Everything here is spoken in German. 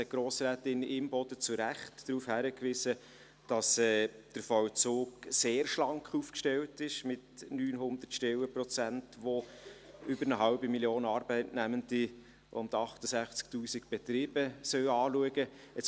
Grossrätin Imboden hat zu Recht darauf hingewiesen, dass der Vollzug mit 900 Stellenprozenten, die über eine halbe Million Arbeitnehmende und 68 000 Betriebe anschauen sollen, sehr schlank aufgestellt ist.